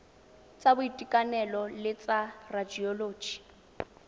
tsa boitekanelo le tsa radioloji